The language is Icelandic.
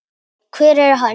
hver er hann?